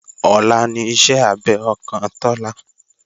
Ọ̀la ní ìṣe abẹ ọkàn Tọ́lá